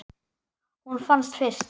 Hún fannst fyrst.